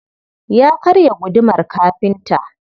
Ya karya gudumar kafinta.